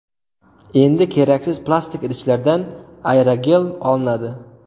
Endi keraksiz plastik idishlardan aerogel olinadi.